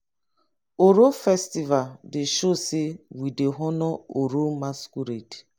oro festival dey show sey we dey honour oro masqurade.